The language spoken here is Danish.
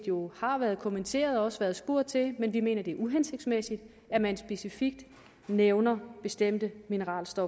jo har været kommenteret og også været spurgt til men vi mener det er uhensigtsmæssigt at man specifikt nævner bestemte mineralske